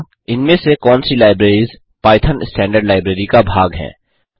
इनमें से कौन सी लाइब्रेरिस पाइथन स्टैंडर्ड लाइब्रेरी का भाग हैं